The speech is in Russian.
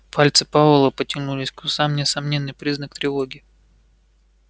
пальцы пауэлла потянулись к усам несомненный признак тревоги